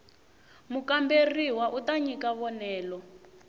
mukamberiwa u ta nyika vonelo